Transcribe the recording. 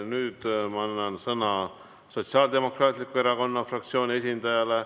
Nüüd ma annan sõna Sotsiaaldemokraatliku Erakonna fraktsiooni esindajale.